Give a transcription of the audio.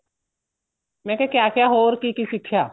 ਮੈਂ ਕਿਆ ਕਿਆ ਹੋਰ ਕੀ ਕੀ ਸਿੱਖਿਆ